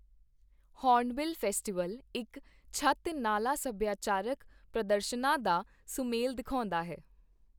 Hornbill Festival ਇੱਕ ਛੱਤ ਨਾਲਾਂ ਸਭਿਆਚਾਰਕ ਪ੍ਰਦਰਸ਼ਨਾਂ ਦਾ ਸੁਮੇਲ ਦਿਖਾਉਂਦਾ ਹੈ।